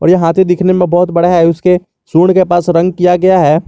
यह हाथी दिखने में बहोत बड़ा है उसके शुड के पास रंग किया गया है।